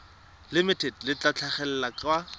limited le tla tlhagelela kwa